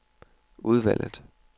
udvalget